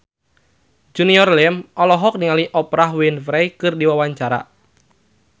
Junior Liem olohok ningali Oprah Winfrey keur diwawancara